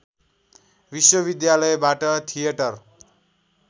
विश्वविद्यालयबाट थिएटर